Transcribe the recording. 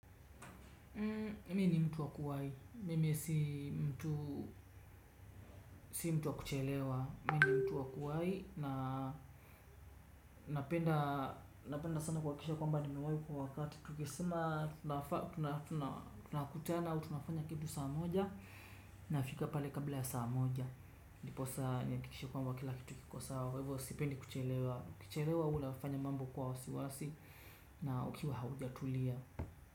Mimi ni mtu wa kuwai. Mimi si mtu wa kuchelewa. Mimi ni mtu wa kuwahi na napenda sana kuhakikisha kwamba nimewahi kwa wakati. Tukisema tunakutana au tunafanya kitu saa moja nafika pale kabla ya saa moja. Ndiposa nihakikishe kwamba kila kitu kiko sawa. Kwa hivo sipendi kuchelewa. Ukichelewa huwa unafanya mambo kwa wasiwasi na ukiwa haujatulia.